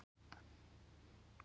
Og jú, ég hafði ekkert á móti því.